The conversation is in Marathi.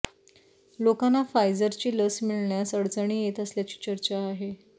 लोकांना फायजरची लस मिळण्यास अडचणी येत असल्याची चर्चा आहे